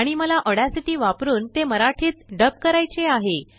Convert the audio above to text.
आणि मला ऑडासिटी वापरून तेमराठीत डब करायचेआहे